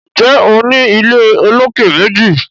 Njé O ní ilé olokè méjì?